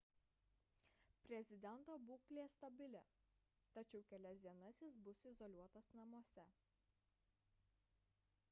prezidento būklė stabili tačiau kelias dienas jis bus izoliuotas namuose